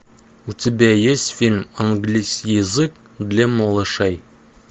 у тебя есть фильм английский язык для малышей